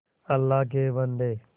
अल्लाह के बन्दे